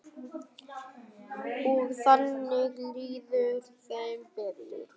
Og þannig líður þeim betur.